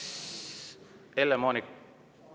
Helle-Moonika …